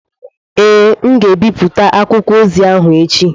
Ee, m ga-ebipụta akwụkwọ ozi ahụ echi.